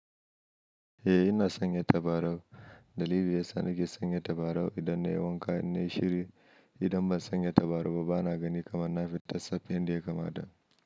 Eh ina sanya tabarau. Dalili ya sa ni ke sanya tabarau idan na yi wanka ne shiri. Idan ban sanya tabarau ba bana gani kamar na fita safi indiya kama da.